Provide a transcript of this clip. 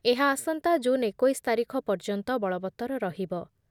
ଏହା ଆସନ୍ତା ଜୁନ୍ ଏକୋଇଶ ତାରିଖ ପର୍ଯ୍ୟନ୍ତ ବଳବତ୍ତର ରହିବ ।